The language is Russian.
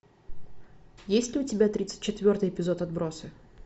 есть ли у тебя тридцать четвертый эпизод отбросы